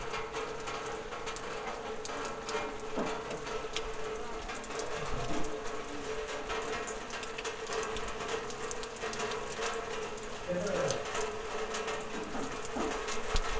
ଆଜ୍ଞା ଆପଣ insurance ଯଦି କରିଥିବେ ତ ଆପଣଙ୍କର ସେଇଟା ହିଁ ସୁବିଧା ମିଳିବ ଆପଣଙ୍କୁ ଯେମିତି କି ମାନେ ଆପଣ ମାନେ କିଛି କିମ୍ବା